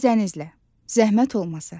Zəhmət olmasa.